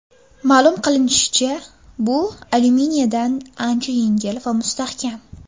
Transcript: Ma’lum qilinishicha, bu alyuminiyadan ancha yengil va mustahkam.